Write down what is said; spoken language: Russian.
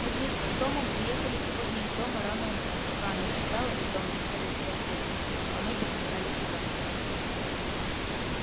мы вместе с томом уехали сегодня из дома рано утром пока она не встала и том засел у фонтейнов а мы поскакали сюда